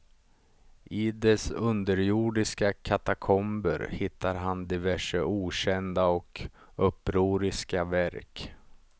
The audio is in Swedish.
I dess underjordiska katakomber hittar han diverse okända och upproriska verk.